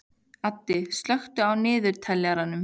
Addi, slökktu á niðurteljaranum.